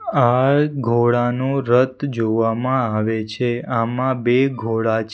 આ ઘોડાનું રથ જોવામાં આવે છે આમાં બે ઘોડા છે --